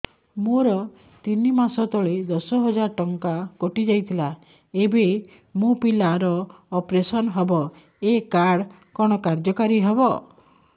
ମୋର ତିନି ମାସ ତଳେ ଦଶ ହଜାର ଟଙ୍କା କଟି ଯାଇଥିଲା ଏବେ ମୋ ପିଲା ର ଅପେରସନ ହବ ଏ କାର୍ଡ କଣ କାର୍ଯ୍ୟ କାରି ହବ